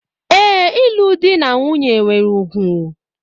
Ee, ịlụ di na nwunye nwere ùgwù.